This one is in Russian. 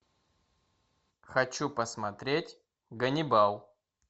хочу посмотреть ганнибал